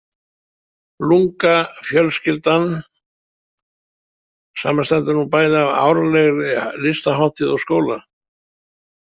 LungA „fjölskyldan“ samanstendur nú bæði af árlegri listahátíð og skóla.